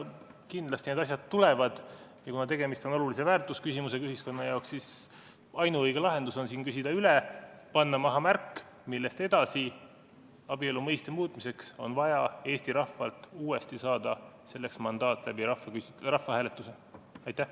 Kindlasti need asjad tulevad, ja kuna tegemist on ühiskonna jaoks olulise väärtusküsimusega, siis ainuõige lahendus on küsida üle, panna maha märk, millest edasi abielu mõiste muutmiseks on vaja Eesti rahvalt saada uuesti mandaat rahvahääletuse kaudu.